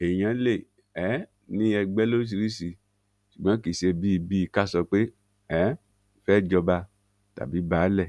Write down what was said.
èèyàn lè um ní ẹgbẹ lóríṣìíríṣìí ṣùgbọn kì í ṣe bíi bíi ká sọ pé a um fẹẹ jọba tàbí baálé